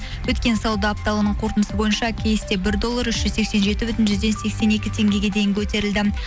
өткен сауда апталығының қортындысы бойынша кейсте бір доллар үш жүз сексен жеті бүтін жүзден сексен екі теңгеге дейін көтерілді